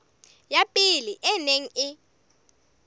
ya pele e neng e